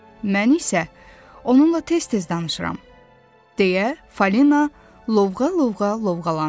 Mən isə onunla tez-tez danışıram deyə Falina lovğa-lovğa lovğalandı.